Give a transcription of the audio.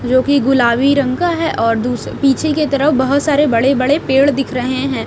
जो की गुलाबी रंग का हैं और दूस पीछे के तरफ बहोत सारे बड़े बड़े पेड़ दिख रहें हैं।